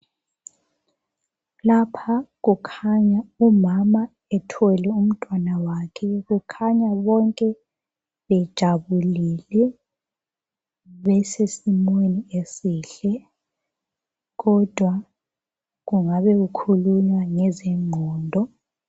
Lapha kukhanya umama ethwele umntwana wakhe. Kukhanya bonke bejabulile besesimweni esihle kodwa kungabe kukhulunywa ngezengqondo.